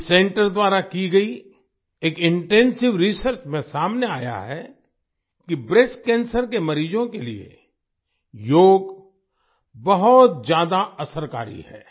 इस सेंटर द्वारा की गई एक इंटेंसिव रिसर्च में सामने आया है कि ब्रेस्ट ब्रेस्ट कैंसर के मरीजों के लिए योग बहुत ज्यादा असरकारी है